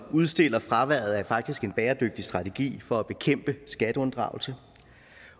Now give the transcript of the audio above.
udstiller fraværet af faktisk en bæredygtig strategi for at bekæmpe skatteunddragelse